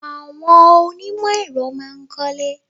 Àwọn onímò èro má a nkólé